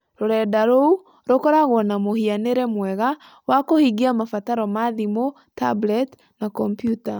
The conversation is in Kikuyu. Rũrenda rou rũkoragwo na mũhianĩre mwega wa kũhingia mabataro ma thimũ, tablet, na kompiuta.